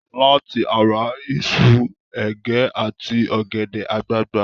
Láti ara iṣu, ẹ̀gẹ́ àti ọ̀gẹ̀dẹ̀ àgbagbà.